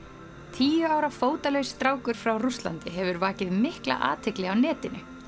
tíu ára fótalaus strákur frá Rússlandi hefur vakið mikla athygli á netinu